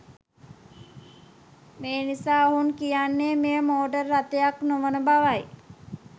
මෙනිසා ඔවුන් කියන්නේ මෙය මෝටර් රථයක් නොවන බවයි.